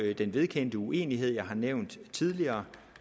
jo den vedkendte uenighed jeg har nævnt tidligere